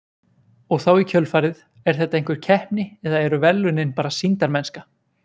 Og þá í kjölfarið, er þetta einhver keppni eða eru verðlaunin bara sýndarmennska?